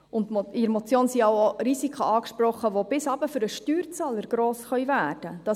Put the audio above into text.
Und in der Motion sind ja auch Risiken angesprochenen, die bis hinunter für den Steuerzahler gross werden können.